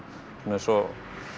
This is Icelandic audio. eins og